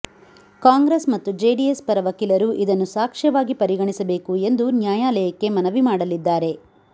ಕಾಂಗ್ರೆಸ್ ಮತ್ತು ಜೆಡಿಎಸ್ ಪರ ವಕೀಲರು ಇದನ್ನು ಸಾಕ್ಷ್ಯವಾಗಿ ಪರಿಗಣಿಸಬೇಕು ಎಂದು ನ್ಯಾಯಾಲಯಕ್ಕೆ ಮನವಿ ಮಾಡಲಿದ್ದಾರೆ